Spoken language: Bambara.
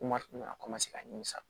Kuma tun bɛ ka ka ɲimisa